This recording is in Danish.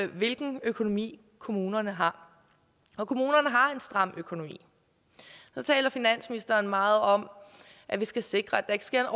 hvilken økonomi kommunerne har og kommunerne har en stram økonomi så taler finansministeren meget om at vi skal sikre at der ikke sker